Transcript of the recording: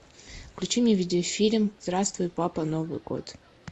включи мне видеофильм здравствуй папа новый год